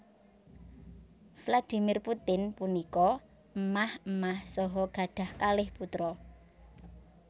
Vladimir Putin punika émah émah saha gadhah kalih putra